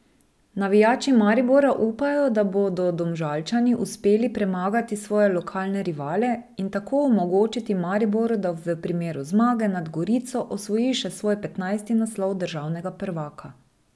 Navijači Maribora upajo, da bodo Domžalčani uspeli premagati svoje lokalne rivale in tako omogočiti Mariboru, da v primeru zmage nad Gorico osvoji še svoj petnajsti naslov državnega prvaka.